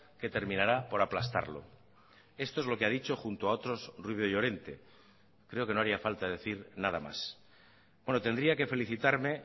que terminará por aplastarlo esto es lo que ha dicho junto a otros rubio llorente creo que no haría falta decir nada más bueno tendría que felicitarme